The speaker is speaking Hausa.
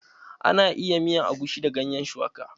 Ana iya miyan agushi da gayen shuwaka.